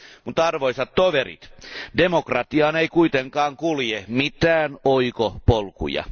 Mutta arvoisat toverit, demokratiaan ei kuitenkaan kulje mitään oikopolkuja.